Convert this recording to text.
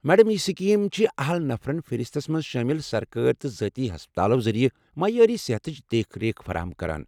Madam, یہ scheme چھ اہل نفرن فہرستس منٛز شٲمل سرکٲرۍ تہٕ ذٲتی ہسپتالو ذٔریعہٕ معیاری صحتچ دیکھ ریکھ فراہم کران۔